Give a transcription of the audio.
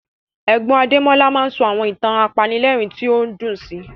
Ẹ̀gbọ́n Adémọ́lá máa ń sọ àwọn ìtàn apanilẹ́rìn tí ó dùn sí